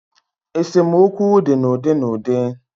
Esemokwu di n' udi n'udi.